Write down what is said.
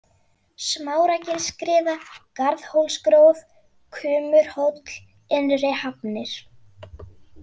Smáragilsskriða, Garðhólsgróf, Kumurhóll, Innrihafnir